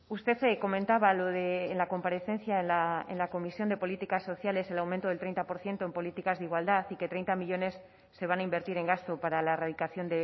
usted comentaba lo de en la comparecencia en la comisión de políticas sociales el aumento del treinta por ciento en políticas de igualdad y que treinta millónes se van a invertir en gasto para la erradicación